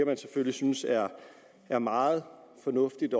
man selvfølgelig synes er er meget fornuftigt